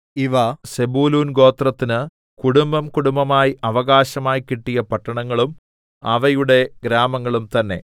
ഇവ സെബൂലൂൻ ഗോത്രത്തിന് കുടുംബംകുടുംബമായി അവകാശമായി കിട്ടിയ പട്ടണങ്ങളും അവയുടെ ഗ്രാമങ്ങളും തന്നെ